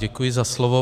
Děkuji za slovo.